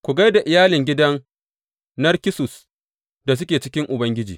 Ku gai da iyalin gidan Narkissus da suke cikin Ubangiji.